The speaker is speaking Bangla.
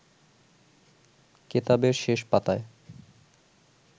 কেতাবের শেষ পাতায়